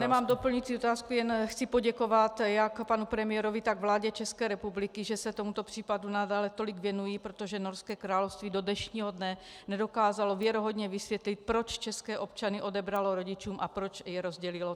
Nemám doplňující otázku, jen chci poděkovat jak panu premiérovi, tak vládě České republiky, že se tomuto případu nadále tolik věnují, protože Norské království do dnešního dne nedokázalo věrohodně vysvětlit, proč české občany odebralo rodičům a proč je rozdělilo.